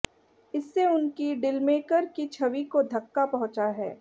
इससे उनकी डीलमेकर की छवि को धक्का पहुंचा है